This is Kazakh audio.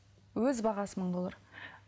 өз бағасы мың доллар